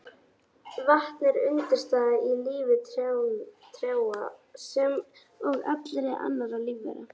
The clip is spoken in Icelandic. Vatn er undirstaða í lífi trjáa sem og allra annarra lífvera.